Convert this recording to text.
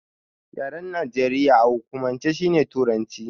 Yaren Najeriya a hukumance shine Turanci.